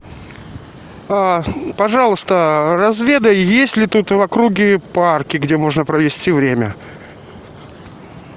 а пожалуйста разведай есть ли тут в округе парки где можно провести время